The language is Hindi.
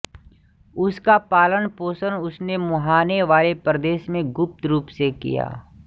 उसका पालनपोषण उसने मुहाने वाले प्रदेश में गुप्त रूप से किया